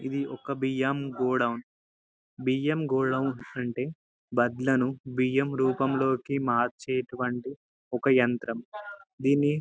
ఇది ఒక బియ్యం గోడం బియ్యం గోడం అంటే వడ్లను బియ్యంరూపం లోకి మార్చేటటువంటి ఒక యంత్రం దేన్నీ --